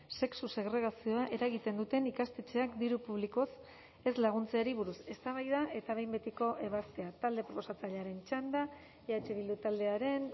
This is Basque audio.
sexu segregazioa eragiten duten ikastetxeak diru publikoz ez laguntzeari buruz eztabaida eta behin betiko ebazpena talde proposatzailearen txanda eh bildu taldearen